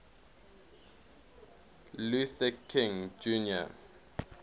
luther king jr